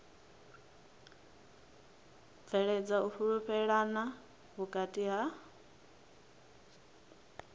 bveledza u fhulufhelana vhukati ha